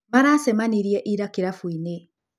Maracemanirie ira kĩrabu-inĩ.